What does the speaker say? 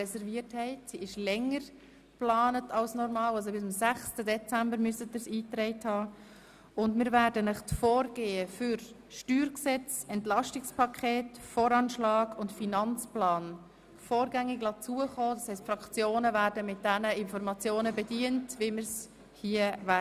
Wir werden Ihnen das Vorgehen für das Steuergesetz (StG), das Entlastungspaket, den Voranschlag und den Finanzplan vorgängig zukommen lassen, das heisst die Fraktionen werden mit den Informationen zum Ablauf der Behandlung bedient werden.